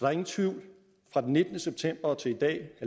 er ingen tvivl fra den nittende september og til i dag